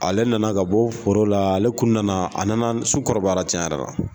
Ale nana ka bɔ foro la ale kun nana a nana sukɔrɔbayara tiɲɛn yɛrɛ la.